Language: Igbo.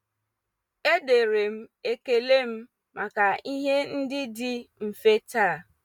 Edere m ekele m maka ihe ndị dị mfe taa.